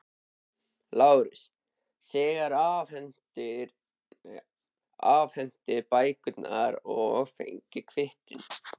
LÁRUS: Þér afhentuð bækurnar og fenguð kvittun.